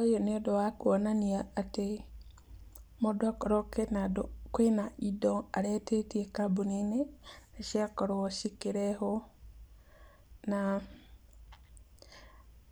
Ũyũ nĩ ũndũ wa kuonania atĩ mũndũ korwo kwĩna andũ, kwĩna indo aretĩtíe kambuni-inĩ, nĩ ciakorwo cikĩrehwo. Na